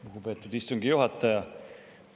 Lugupeetud istungi juhataja!